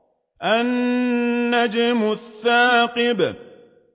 النَّجْمُ الثَّاقِبُ